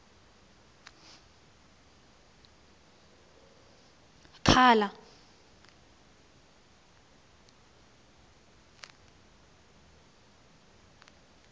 khala